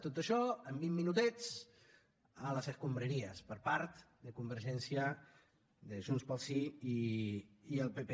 tot això en vint minutets a les escombraries per part de convergència de junts pel sí i el pp